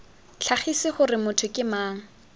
tlhagise gore motho ke mang